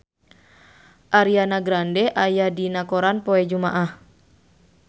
Ariana Grande aya dina koran poe Jumaah